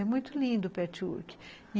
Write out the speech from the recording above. É muito lindo o patchwork.